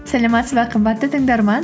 сәлеметсің бе қымбатты тыңдарман